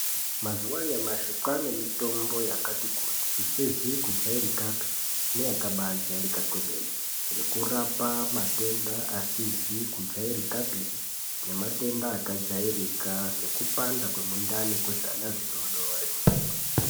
Mazuva anyamashi kwaane mitombo yakati kuti isizi kujairika pii nekurapa matenda asizi kujairika pii nematenda kajairika sekupanda kwengqondo kwewana wadoodori.